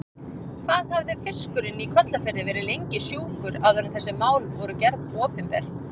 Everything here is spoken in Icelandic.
Hvað hafði fiskurinn í Kollafirði verið lengi sjúkur áður en þessi mál voru gerð opinber?